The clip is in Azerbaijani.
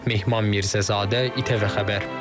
Mehman Mirzəzadə, İTV Xəbər.